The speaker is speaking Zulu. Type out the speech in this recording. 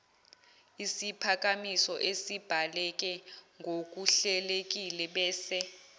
siphakamiso esibhaleke ngokuhlelekilebese